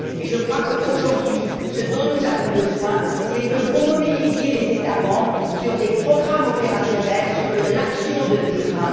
Je crois qu'aujourd'hui, ce dont nous avons besoin, c'est que vous mobilisiez les États membres sur des programmes opérationnels et de l'action sur le terrain.